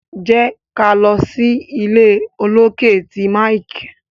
jé ká ló sí ìlé olokè tí Mike.